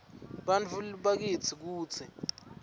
bantfu bakitsi kutsi